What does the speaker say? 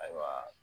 Ayiwa